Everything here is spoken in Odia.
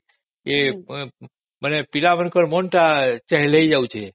ପିଲା ମାନଙ୍କର ମନଟା ଚହଲି ଯାଉଛି